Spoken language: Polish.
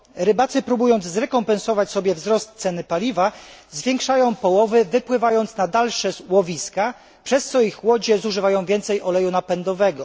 Rybacy próbując zrekompensować sobie wzrost ceny paliwa zwiększają połowy wypływając na dalsze łowiska, przez co ich łodzie zużywają więcej oleju napędowego.